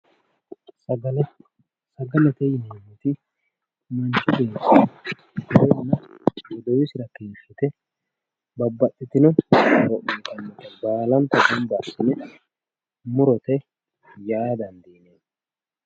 Sagale sagalete yineemmoti manchu beetti iteenna godowisira dirrite babbaxxeyo horo uyiitannota murote yaa dandineemmo